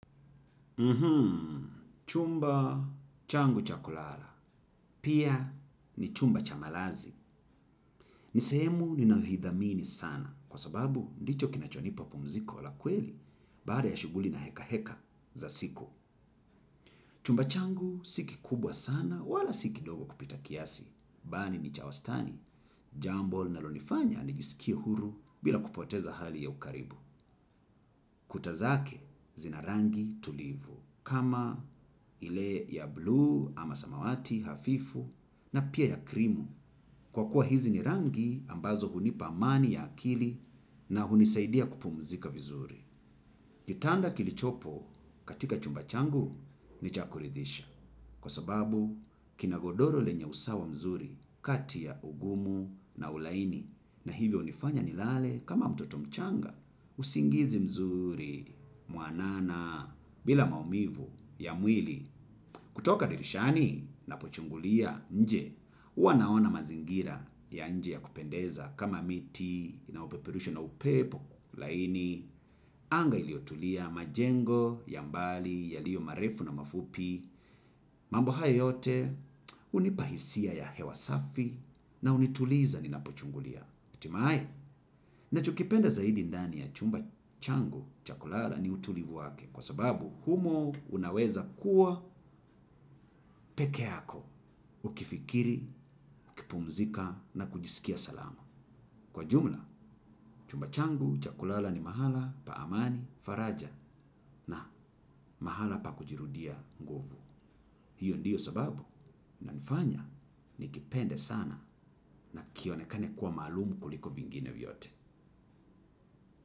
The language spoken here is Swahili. Mhmm, chumba changu cha kulala. Pia ni chumba cha malazi. Ni sehemu ninayoithamini sana kwa sababu ndicho kinachonipa pumziko la kweli baada ya shughuli na heka heka za siku. Chumba changu si kikubwa sana wala si kidogo kupita kiasi, bali ni cha wastani, jambo linalo nifanya nijisikie huru bila kupoteza hali ya ukaribu. Kuta zake zina rangi tulivu, kama ile ya bluu ama samawati hafifu na pia ya krimu, kwa kuwa hizi ni rangi ambazo hunipa amani ya akili na hunisaidia kupumzika vizuri. Kitanda kilichopo katika chumba changu ni cha kuridhisha kwa sababu kina godoro lenye usawa mzuri kati ya ugumu na ulaini na hivyo hunifanya nilale kama mtoto mchanga usingizi mzuri mwanana bila maumivu ya mwili kutoka dirishani ninapo chungulia nje. Huwa naona mazingira ya nje ya kupendeza kama miti, inayo peperushwa na upepo, laini, anga iliotulia majengo, ya mbali, yaliyo marefu na mafupi. Mambo haya yote, hunipa hisia ya hewa safi na unituliza ninapo chungulia. Hatimae, ninacho kipenda zaidi ndani ya chumba changu, cha kulala ni utulivu wake. Kwa sababu humo unaweza kuwa peke yako ukifikiri, kipumzika na kujisikia salama. Kwa jumla, chumba changu, cha kulala ni mahala, pa amani, faraja na mahala pa kujirudia nguvu. Hiyo ndiyo sababu inanifanya nikipende sana na kionekane kuwa maalum kuliko vingine vyote.